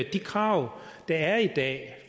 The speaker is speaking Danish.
de krav der er i dag